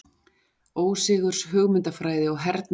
Ósigurs hugmyndafræði og hernaðarvélar.